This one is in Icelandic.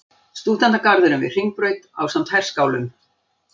Stúdentagarðurinn við Hringbraut ásamt herskálum.